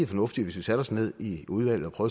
fornuftigt hvis vi satte os ned i udvalget og